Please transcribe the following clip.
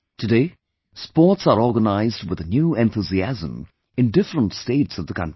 Today, sports are organized with a new enthusiasm in different states of the country